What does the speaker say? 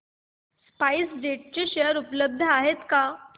spice jet चे share उपलब्ध आहेत का